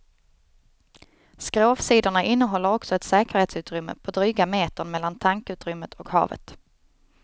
Skrovsidorna innehåller också ett säkerhetsutrymme på dryga metern mellan tankutrymmet och havet.